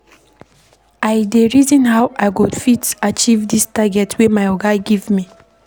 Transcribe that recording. I dey reason how I go fit achieve dis target wey my oga give me.